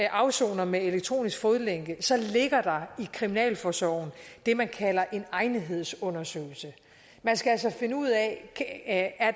afsoner med elektronisk fodlænke ligger der i kriminalforsorgen det man kalder en egnethedsundersøgelse man skal altså finde ud af